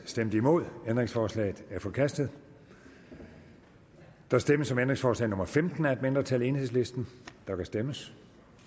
stemte nul ændringsforslaget er forkastet der stemmes om ændringsforslag nummer femten af et mindretal der kan stemmes